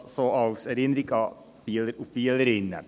Dies so als Erinnerung an die Bieler und Bielerinnen.